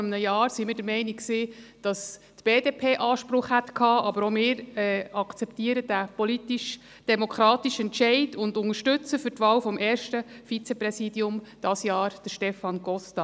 Vor einem Jahr waren wir der Meinung, die BDP habe Anspruch, aber auch wir akzeptieren diesen politischdemokratischen Entscheid und unterstützen dieses Jahr für die Wahl des ersten Vizepräsidiums Stefan Costa.